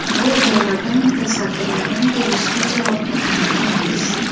Bu borada mutasaddilardan tegishli javobni kutib qolamiz.